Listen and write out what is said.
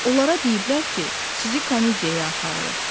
Onlara deyiblər ki, sizi komediyaya aparırıq.